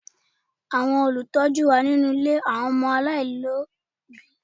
Àwọn Olùtọ́jú wà nílé àwọn ọmọ aláìlóbìí